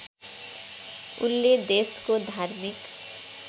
उनले देशको धार्मिक